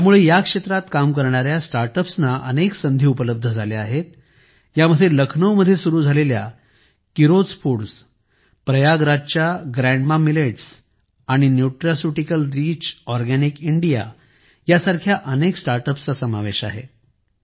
यामुळे या क्षेत्रात काम करणाऱ्या स्टार्टअप्सना अनेक संधी उपलब्ध झाल्या आहेत यामध्ये लखनऊ मध्ये सुरू झालेल्या किरोज फूड्स प्रयागराजच्या ग्रँडमा मिलेट्स आणि न्यूट्रास्युटिकल रिच ऑरगॅनिक इंडिया सारख्या अनेक स्टार्टअप्सचा समावेश आहे